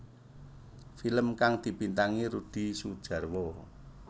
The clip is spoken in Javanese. Film kang dibintangi Rudi Sudjarwo